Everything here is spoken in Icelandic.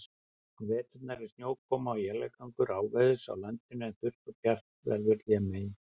Á vetrum er snjókoma og éljagangur áveðurs á landinu, en þurrt og bjart veður hlémegin.